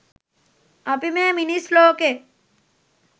අපි මේ මිනිස් ලෝකෙ